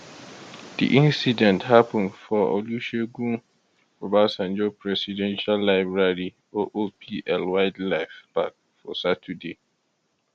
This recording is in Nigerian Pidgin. di incident happun for di olusegun obasanjo presidential library oopl wildlife park for saturday